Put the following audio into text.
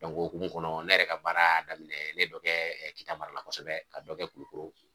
o hokumu kɔnɔ ne yɛrɛ ka baara y'a daminɛ ne ye dɔ kɛ Kita marala kosɛbɛ ka dɔ kɛ Kulukoro.